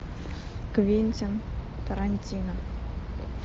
квентин тарантино